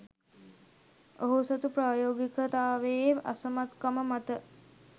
ඔහු සතු ප්‍රායෝගිකතාවයේ අසමත්කම මත